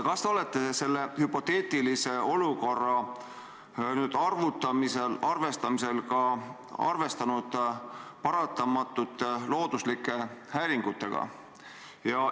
Kas te olete selle hüpoteetilise olukorra arvestuste tegemisel arvestanud ka paratamatute looduslike häiringutega?